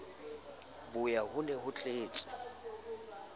boya ho ne ho tletse